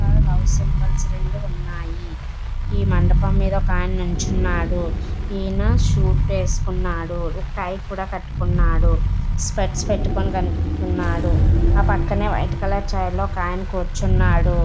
ఇక్కడ love symbols రెండు ఉన్నాయి. ఈ మండపం మీద ఒక అయన నిల్చున్నాడు. ఈయన సూట్ వేసుకున్నాడు. ఒక టై కూడా కట్టుకున్నాడు. స్పెడ్స్ పెట్టుకొని కనిపిస్తున్నాడు. ఆ పక్కనే రెడ్ కలర్ చైర్ లో ఒక అయన కూర్చున్నాడు.